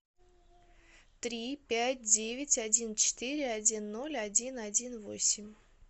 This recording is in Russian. три пять девять один четыре один ноль один один восемь